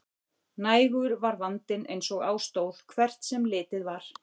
Nægur var vandinn eins og á stóð, hvert sem litið var.